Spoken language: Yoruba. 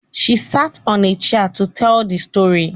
She sat on a chair to teel the story